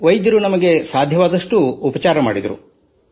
ಆದರೆ ವೈದ್ಯರು ನಮಗೆ ಸಾಧ್ಯವಾದಷ್ಟು ಉಪಚಾರ ಮಾಡಿದರು